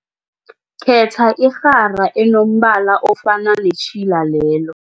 Khetha irhara enombala ofana netjhila lelo.